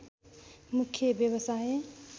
मुख्य व्यवसाय